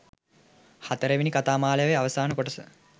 හතරවෙනි කතාමාලාවේ අවසාන කොටස.